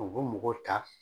U mɔgɔw ta.